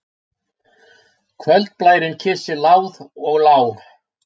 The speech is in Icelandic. Kvöldblærinn kyssir láð og lá.